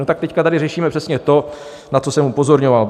No tak teď tady řešíme přesně to, na co jsem upozorňoval.